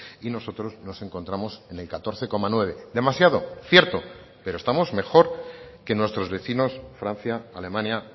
y nosotros nos encontramos en el catorce coma nueve demasiado cierto pero estamos mejor que nuestros vecinos francia alemania